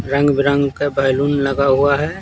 रंग-बरंग का बैलून लगा हुआ है।